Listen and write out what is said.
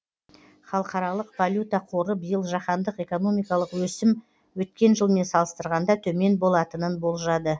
халықаралық валюта қоры биыл жаһандық экономикалық өсім өткен жылмен салыстырғанда төмен болатынын болжады